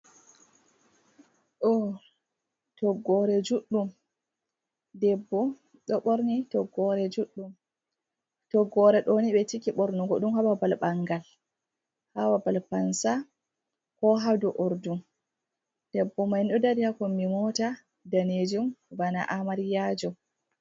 Do toggore juddum debbo do borni toggore ɗoni be ciki bornugo dum haba babal bangal hababal pansa ko hado urdum. Debbo maini ɗo dari hakonbi mota danejum bana amaryajo.